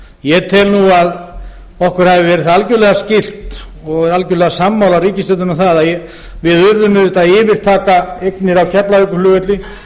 ég tel að okkur hafi verið það algerlega skylt og er algerlega sammála ríkisstjórninni um að við urðum auðvitað að yfirtaka eignir á keflavíkurflugvelli